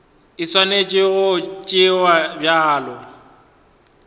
e swanetše go tšewa bjalo